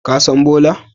Ka san Bola?